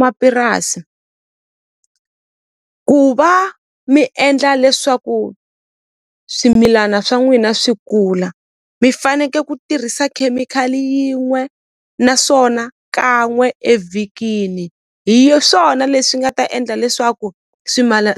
Mapurasi ku va mi endla leswaku swimilana swa n'wina swi kula mi faneke ku tirhisa khemikhali yin'we naswona kan'we evhikini hi swona leswi nga ta endla leswaku